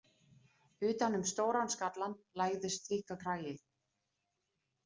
Utan um stóran skallann lagðist þykkur kragi.